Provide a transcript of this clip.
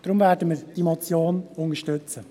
Deshalb werden wir diese Motion unterstützen.